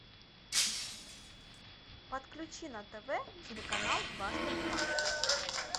подключи на тв телеканал дважды два